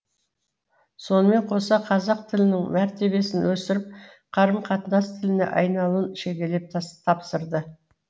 сонымен қоса қазақ тілінің мәртебесін өсіріп қарым қатынас тіліне айналуын шегелеп тапсырды